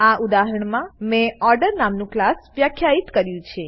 આ ઉદાહરણમાં મેં ઓર્ડર નામનું ક્લાસ વ્યાખ્યિત કર્યું છે